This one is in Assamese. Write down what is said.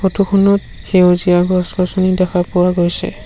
ফটো খনত সেউজীয়া গছ-গছনি দেখা পোৱা গৈছে।